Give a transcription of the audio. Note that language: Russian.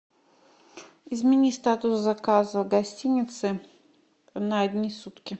измени статус заказа гостиницы на одни сутки